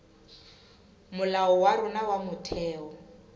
molao wa rona wa motheo